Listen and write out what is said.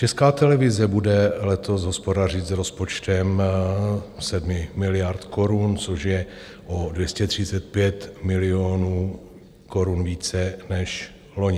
Česká televize bude letos hospodařit s rozpočtem 7 miliard korun, což je o 235 milionů korun více než loni.